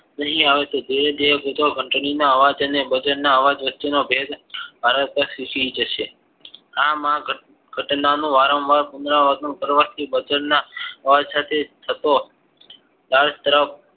નહિ આવે તો જે બે કૂતરો ઘંટડીના અવાજ અને બજન અવાજ વચ્ચે નો ભેદ તરત જ ફુસી જશે આમ આ ઘટના નું વારંવાર પુનરાવર્તન કરવાથી બજનના ઓરથતે ના તત્વો તે બત્રાવ